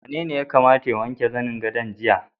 Wanene ya kamata ya wanke zanen gadon jiya?